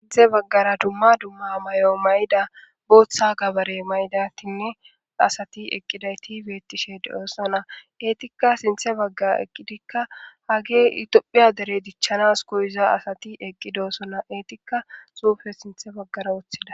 sinthe baggara dumma dumma may7o mayda booththa gabare maydatinne asati eqqidayti beettishe de7oosona eetikka sinthe baggaa eqqidikka hage itophiya dere dichchanas goyiza asati eqqidoosona eetikka suufe sinthe baggara woththida